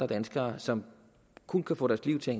danskere som kun kan få deres liv til at